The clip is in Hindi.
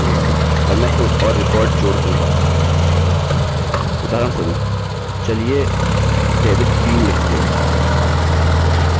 उदाहरणस्वरुप चलिए david green लिखते हैं और हमारी जन्मतिथि कुछ भी हो सकती है